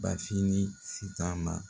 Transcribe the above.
Bafin ni sitan ma